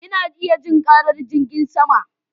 Ina iya jin karar jirgin sama